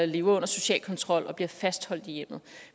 lever under social kontrol og bliver fastholdt i hjemmet